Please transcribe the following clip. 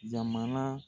Jamana